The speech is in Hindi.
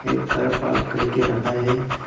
कार पार्क करके रखा है।